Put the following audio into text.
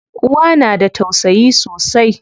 Uwa na da tausayi sosai.